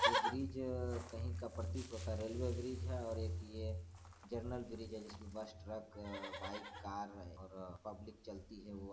ये ब्रिज कहीं का प्रतीत होता है रेलवे ब्रिज हैं और एक ये जनरल ब्रिज हैं जिसमे बस ट्रक बाइक कार और पब्लिक चलती हैं।